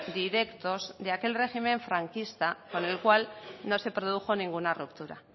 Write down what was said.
directos de aquel régimen franquista con el cual no se produjo ninguna ruptura